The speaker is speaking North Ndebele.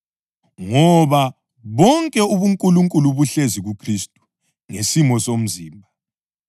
Ngoba bonke ubuNkulunkulu buhlezi kuKhristu ngesimo somzimba